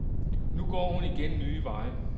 Nu går hun igen nye veje.